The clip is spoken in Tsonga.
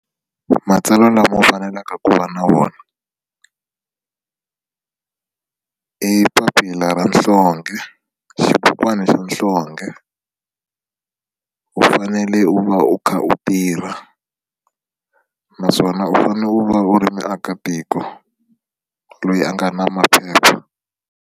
Matsalwa lama u faneleke ku va na wona i papila ra nhlonge xibukwana xa nhlonge u fanele u va u kha u tirha naswona u fanele u va u ri muakatiko loyi a nga na maphepha.